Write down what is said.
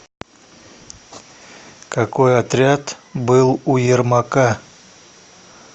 какой отряд был у ермака